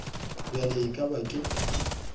bjale e ka ba ke